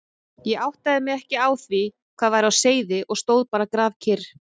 Ég áttaði mig ekki á því hvað væri á seyði og stóð bara grafkyrr.